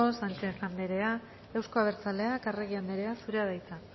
sánchez anderea euzko abertzaleak arregi andrea zurea da hitza